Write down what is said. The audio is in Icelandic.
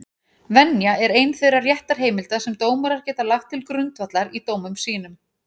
Venja er ein þeirra réttarheimilda sem dómarar geta lagt til grundvallar í dómum sínum.